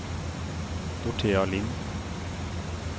Dorthea Lind